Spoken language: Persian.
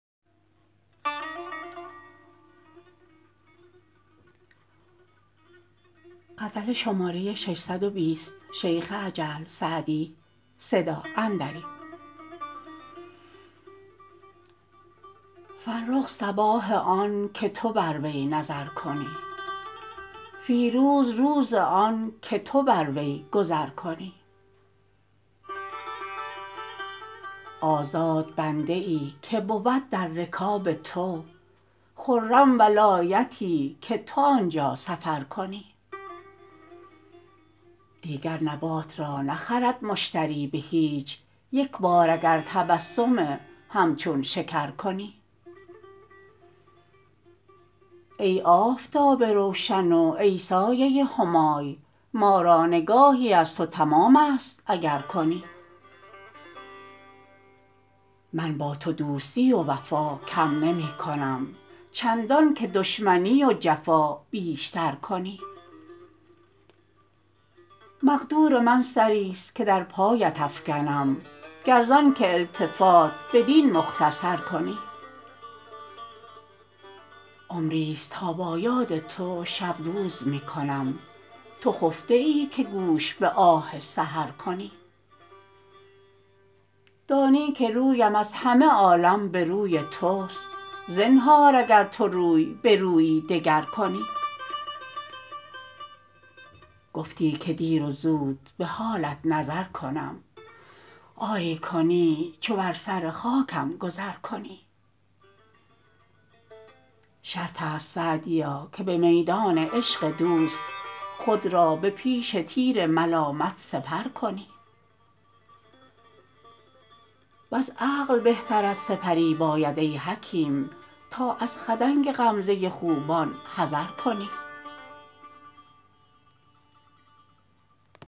فرخ صباح آن که تو بر وی نظر کنی فیروز روز آن که تو بر وی گذر کنی آزاد بنده ای که بود در رکاب تو خرم ولایتی که تو آن جا سفر کنی دیگر نبات را نخرد مشتری به هیچ یک بار اگر تبسم همچون شکر کنی ای آفتاب روشن و ای سایه همای ما را نگاهی از تو تمام است اگر کنی من با تو دوستی و وفا کم نمی کنم چندان که دشمنی و جفا بیش تر کنی مقدور من سری ست که در پایت افکنم گر زآن که التفات بدین مختصر کنی عمری ست تا به یاد تو شب روز می کنم تو خفته ای که گوش به آه سحر کنی دانی که رویم از همه عالم به روی توست زنهار اگر تو روی به رویی دگر کنی گفتی که دیر و زود به حالت نظر کنم آری کنی چو بر سر خاکم گذر کنی شرط است سعدیا که به میدان عشق دوست خود را به پیش تیر ملامت سپر کنی وز عقل بهترت سپری باید ای حکیم تا از خدنگ غمزه خوبان حذر کنی